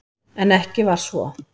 En ekki var svo.